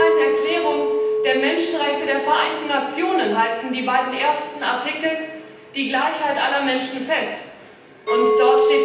In der Allgemeinen Erklärung der Menschenrechte der Vereinten Nationen ist in den beiden ersten Artikeln die Gleichheit aller Menschen verankert.